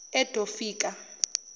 edofika